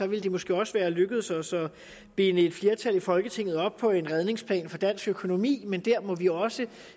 ville det måske også være lykkedes os at binde et flertal i folketinget op på en redningsplan for dansk økonomi men der må vi også